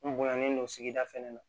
N bonyalen don sigida fɛnɛ na